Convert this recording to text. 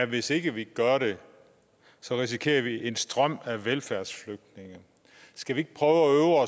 hvis ikke vi gør det risikerer vi en strøm af velfærdsflygtninge skal vi ikke prøve at